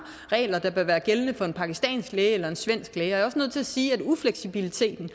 regler der vil være gældende for en pakistansk læge og en svensk læge jeg er også nødt til at sige at ufleksibiliteten